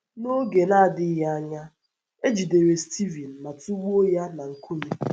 N’oge na - adịghị anya, e jidere Stivin ma tụgbuo ya na nkume na nkume.